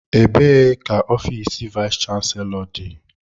Ebee ka ofiisi vayis chansilọ dị?